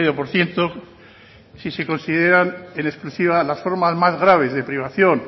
por ciento si se consideran en exclusiva las formas más graves de privación